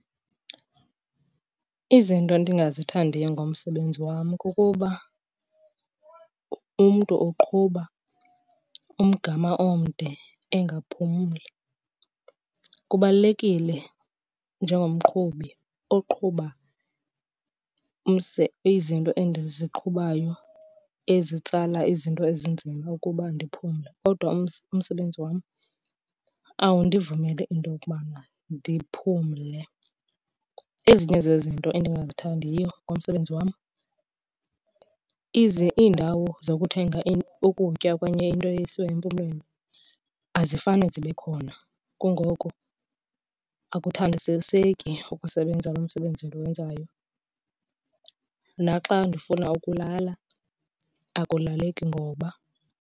Izinto endingazithandiyo ngomsebenzi wam kukuba umntu uqhuba umgama omde engaphumli. Kubalulekile njengomqhubi oqhuba izinto endiziqhubayo ezitsala izinto ezinzima ukuba ndiphumle. Kodwa umsebenzi wam awundivumeli into yokubana ndiphumle. Ezinye zezinto endingazithandiyo ngomsebenzi wam iindawo zokuthenga ukutya okanye into esiwa empumlweni azifane zibe khona, kungoko akuthandisiseki ukusebenza lo msebenzi ndiwenzayo. Naxa ndifuna ukulala akulaleki ngoba.